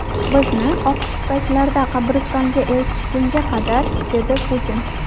Bizni oq shippaklarda qabristonga eltishgunga qadar”, dedi Putin.